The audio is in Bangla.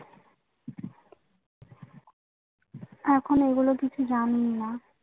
এখন এগুলো কিছু জানিনা